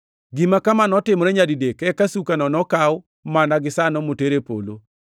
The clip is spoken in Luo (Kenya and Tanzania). Gima kama notimore nyadidek eka sukano nokaw mana gisano moter e polo.